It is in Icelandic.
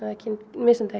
misnotaðir